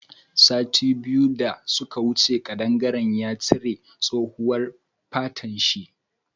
Sati biyu da suka wuce kadangaren ya cire tsohuwan fatan shi.